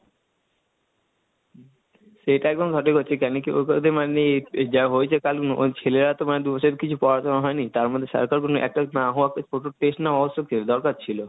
সেইটা একদম সঠিক মানে যা হয়েছে কাল ছেলেরা তো মানে দুবছরে কিছু পড়াশোনা হয়নি, তার মধ্যে সারকার কোনো attach না হওয়া ছোট টেস্ট নেওয়া আবশ্যকীয় দরকার ছিল।